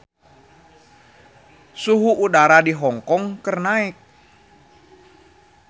Suhu udara di Hong Kong keur naek